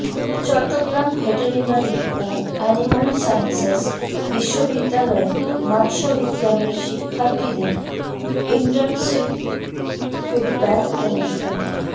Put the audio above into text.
Chittagong veterinary ও animal sciences বিশ্ববিদ্যালয়ে মাৎস্যবিজ্ঞানের শিক্ষার্থীদের ইন্টার্নশীপ ফিডব্যাক অনুষ্ঠানে